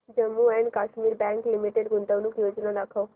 Jammu and Kashmir bank limited गुंतवणूक योजना दाखव